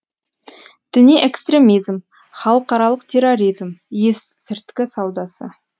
діни экстремизм халықаралық терроризм есірткі саудасы